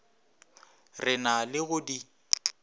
re na le go di